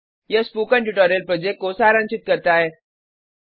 यह spoken tutorial project को सारांशित करता है